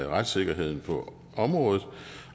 retssikkerheden på området